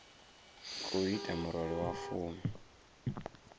khou ita murole wa fumi